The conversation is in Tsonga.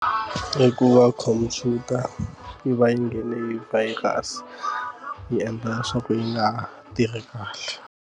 Hikuva khompyuta yi va yi nghene hi virus yi endla leswaku yi nga tirhi kahle.